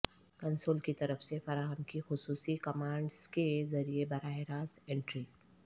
console کی طرف سے فراہم کی خصوصی کمانڈز کے ذریعے براہ راست انٹری